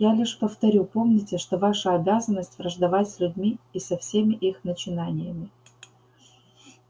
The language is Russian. я лишь повторю помните что ваша обязанность враждовать с людьми и со всеми их начинаниями